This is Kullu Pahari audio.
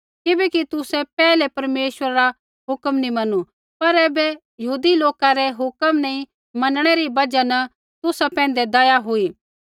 किबैकि तुसै पैहलै परमेश्वरा रा हुक्म नैंई मैनू पर ऐबै यहूदी लोका रै हुक्म नी मनणै री बजहा न तुसा पैंधै दया हुई